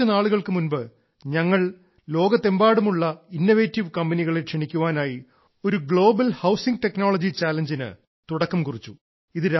കുറച്ച നാളുകൾക്കു മുൻപ് ഞങ്ങൾ ലോകത്തെമ്പാടുമുള്ള ഇന്നവേറ്റീവ് കമ്പനികളെ ക്ഷണിക്കാനായി ഒരു ഗ്ലോബൽ ഹൌസിംഗ് ടെക്നോളജി ചലഞ്ചിന് തുടക്കം കുറിച്ചു